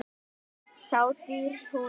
Þá deyr hún.